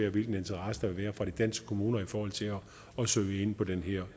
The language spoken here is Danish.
af hvilken interesse der vil være fra de danske kommuner i forhold til at søge ind på den her